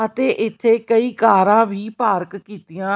ਅਤੇ ਇੱਥੇ ਕਈ ਕਾਰਾਂ ਵੀ ਪਾਰਕ ਕੀਤੀਆਂ--